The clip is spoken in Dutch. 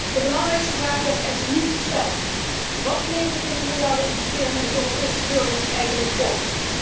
De belangrijkste vraag wordt echter niet gesteld wat levert deze miljardeninvestering de Europese burger eigenlijk op?